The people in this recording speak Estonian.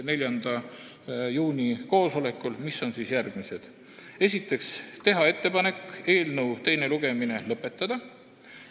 Esiteks otsustati teha ettepanek eelnõu teine lugemine lõpetada.